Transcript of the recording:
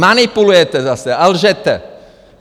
Manipulujete zase a lžete!